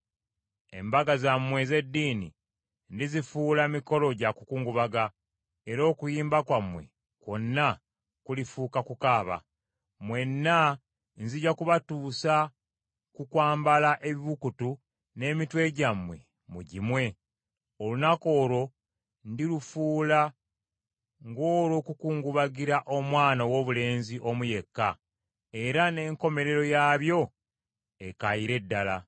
Embaga zammwe ez’eddini ndizifuula mikolo gya kukungubaga era okuyimba kwammwe kwonna kulifuuka kukaaba. Mwenna nzija kubatuusa ku kwambala ebibukutu n’emitwe gyammwe mugimwe. Olunaku olwo ndilufuula ng’olw’okukungubagira omwana owoobulenzi omu yekka, era n’enkomerero yaabyo ekaayire ddala.